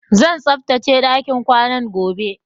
Zan tsaftace ɗakin ƙwanan gobe